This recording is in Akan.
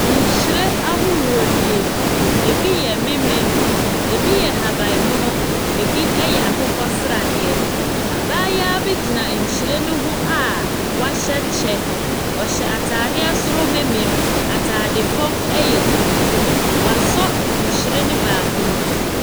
Nwhiren ahorow nie. Ebi yɛ menmen. Ebi yɛ ahabanmono. Ebi ɛyɛ akokɔsradeɛ. Abaayewa bi gyina nhwiren no ho a wahyɛ kyɛ. Ɔhyɛ ataadeɛ soro menmen. Ataade fam ɛyɛ tuntum. Wasɔ nhwiren no baako mu.